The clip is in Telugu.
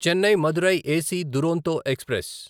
Chennai Madurai AC Duronto express